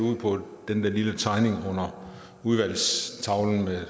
på den der lille tegning under udvalgstavlen og